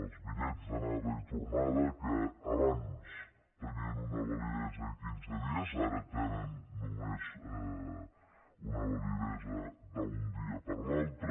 els bitllets d’anada i tornada que abans tenien una validesa de quinze dies ara tenen només una validesa d’un dia per l’altre